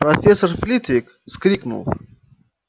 профессор флитвик вскрикнул